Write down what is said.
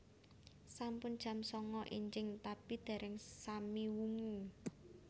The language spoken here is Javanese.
Sampun jam sanga enjing tapi dereng sami wungu